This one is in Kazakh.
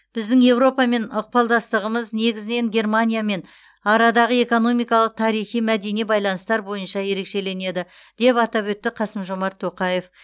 біздің еуропамен ықпалдастығымыз негізінен германиямен арадағы экономикалық тарихи мәдени байланыстар бойынша ерекшеленеді деп атап өтті қасым жомарт тоқаев